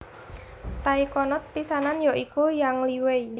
Taikonot pisanan ya iku Yang Liwei